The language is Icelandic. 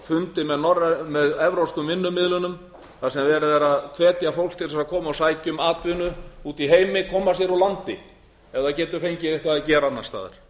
fundi með evrópskum vinnumiðlunum þar sem verið er að hvetja fólk til þess að koma og sækja um atvinnu úti í heimi koma sér úr landi ef það getur fengið eitthvað að gera annars staðar